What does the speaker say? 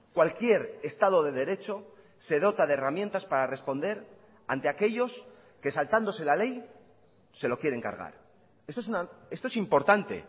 cualquier estado de derecho se dota de herramientas para responder ante aquellos que saltándose la ley se lo quieren cargar esto es importante